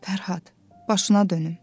Fərhad, başına dönüm.